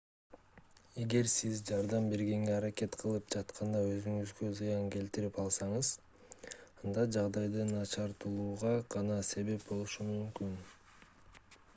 эгер сиз жардам бергенге аракет кылып жатканда өзүңузгө зыян келтирип алсаңыз анда жагдайды начарлатууга гана себеп болушуңуз мүмкүн